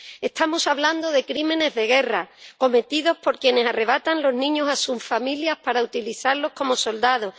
Estamos hablando de crímenes de guerra, cometidos por quienes arrebatan los niños a sus familias para utilizarlos como soldados.